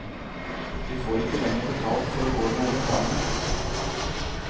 Vi får ikke lenger betalt for å gå med reklame.